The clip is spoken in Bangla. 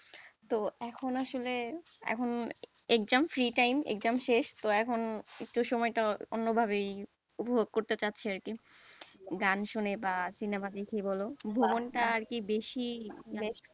তো এখন আসলে এখন exam free time, exam শেষ তো এখন একটু সময়টা অন্যভাবে উপভোগ করতে চাইছে আরকি গান শুনে বা সিনেমা দেখে বল টা আর কি বেশি,